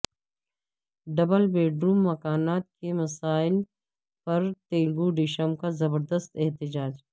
double bedroom مکانات کے مسئلہ پر تلگو دیشم کا زبردست احتجاج